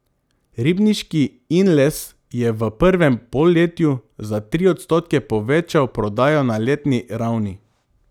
Ribniški Inles je v prvem polletju za tri odstotke povečal prodajo na letni ravni.